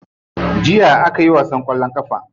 Jiya akayi wasan kwallon kafa.